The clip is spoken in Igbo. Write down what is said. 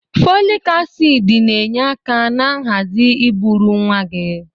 Fọlịk asiidi na-enye aka na nhazi ụbụrụ nwa gị.